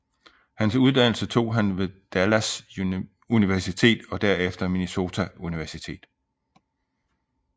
Hans uddannelse tog han ved Dallas Universitet og derefter Minnesota Universitet